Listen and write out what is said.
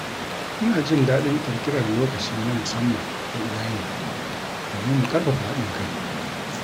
Ina jin daɗin ƙirƙirar lokaci na musamman da iyali domin mu ƙarfafa haɗin kai.